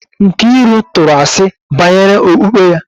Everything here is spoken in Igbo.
Nkiru tụrụ asi banyere okpukpe ya